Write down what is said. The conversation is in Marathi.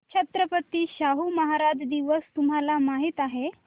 छत्रपती शाहू महाराज दिवस तुम्हाला माहित आहे